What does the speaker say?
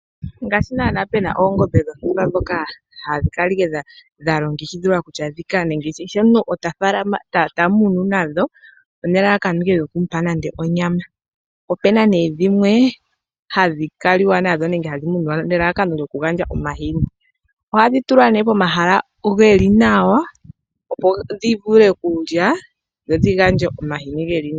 Ngaashi naana pena eengombe dhotumba dhoka hadhi kala dha longekidhilwa kutya dhika kehe omuntu tamunu nadho nelalakano ike lyokumu pa nando onyama, opena nee dhimwe hadhi kaliwa nadho nenge hadhi muniwa nelalakano okugandja omahini, ohadhi tulwa nee pomahala geli nawa opo ndivule okulya dho dhi gandje omahini geli nawa.